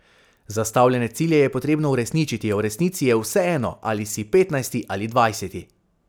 Zastavljene cilje je potrebno uresničiti, a v resnici je vseeno, ali si petnajsti ali dvajseti.